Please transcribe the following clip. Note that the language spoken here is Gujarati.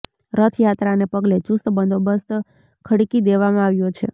રથયાત્રાને પગલે ચુસ્ત બંદોબસ્ત ખડકી દેવામાં આવ્યો છે